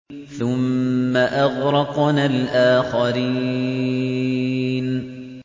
ثُمَّ أَغْرَقْنَا الْآخَرِينَ